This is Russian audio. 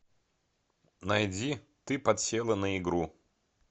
найди ты подсела на игру